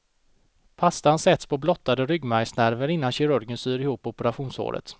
Pastan sätts på blottade ryggmärgsnerver innan kirurgen syr ihop operationssåret.